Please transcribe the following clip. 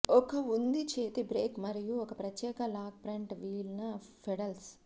ఒక ఉంది చేతి బ్రేక్ మరియు ఒక ప్రత్యేక లాక్ ఫ్రంట్ వీల్ న పెడల్స్